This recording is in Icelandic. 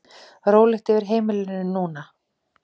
Rólegt yfir heimilinu núna.